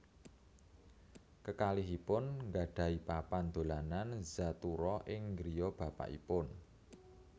Kekalihipun gadhahi papan dolanan Zathura ing griya bapakipun